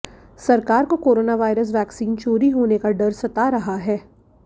सरकार को coronavirus vaccine चोरी होने का डर सता रहा है